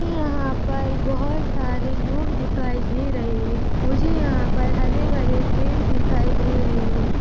मुझे यहाँ पर बोहत सारे लोग दिखाई दे रहे है मुझे यहाँ पर हरेभरे पेड़ दिखाई दे रहे है।